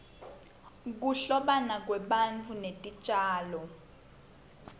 kuhlobana kwebantu netitjalo